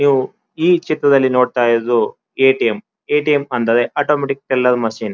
ಇವು ಈ ಚಿತ್ರದಲ್ಲಿನೋಡ್ತಾ ಇರುವುದು ಎ.ಟಿ.ಎಂ ಎ.ಟಿ.ಎಂ ಅಂದರೆ ಆಟೋಮ್ಯಾಟಿಕ್ ಟೆಲ್ಲರ್ ಮಷೀನ್ .